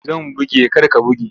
Zan buge kar ka buge!